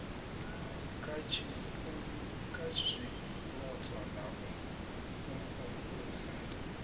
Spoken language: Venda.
kha zwipotso na u imvumvusa